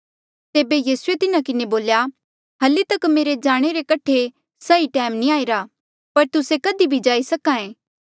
तेबे यीसूए तिन्हें किन्हें बोल्या हल्ली तक मेरे जाणे रे कठे सही टैम नी आईरा पर तुस्से कधी भी जाई सक्हा ऐें